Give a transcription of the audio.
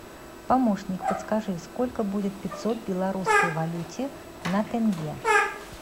помощник подскажи сколько будет пятьсот в белорусской валюте на тенге